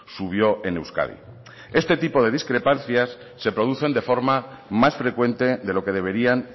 subió en euskadi este tipo de discrepancias se producen de forma más frecuente de lo que deberían